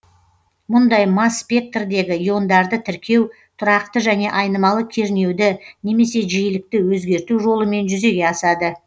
мұндай масс спектрдегі иондарды тіркеу тұрақты және айнымалы кернеуді немесе жиілікті өзгерту жолымен жүзеге асады